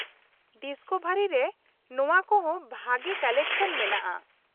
Discovery ᱨᱮ ᱱᱚᱶᱟ ᱠᱚᱦᱚᱸ ᱵᱷᱟᱹᱜᱤ ᱠᱟᱞᱮᱠᱥᱚᱱ ᱢᱮᱱᱟᱜᱼᱟ ᱾